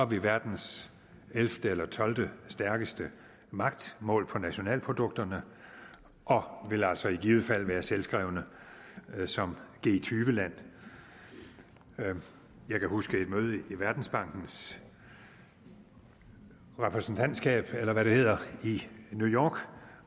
vi verdens ellevte eller tolvte stærkeste magt målt på nationalprodukterne og vil altså i givet fald være selvskrevne som g20 land jeg kan huske et møde i verdensbankens repræsentantskab eller hvad det hedder i new york